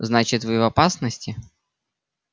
значит вы в опасности